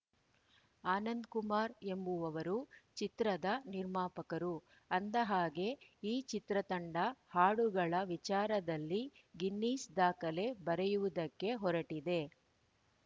ಆನಂದಕುಮಾರ್ ಎಂಬುವವರು ಚಿತ್ರದ ನಿರ್ಮಾಪಕರು ಅಂದಹಾಗೆ ಈ ಚಿತ್ರತಂಡ ಹಾಡುಗಳ ವಿಚಾರದಲ್ಲಿ ಗಿನ್ನಿಸ್‌ ದಾಖಲೆ ಬರೆಯುವುದಕ್ಕೆ ಹೊರಟಿದೆ